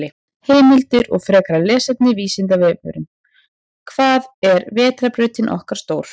Heimildir og frekara lesefni: Vísindavefurinn: Hvað er vetrarbrautin okkar stór?